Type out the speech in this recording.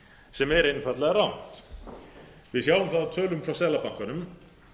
sem er einfaldlega rangt við sjáum það á tölum frá seðlabankanum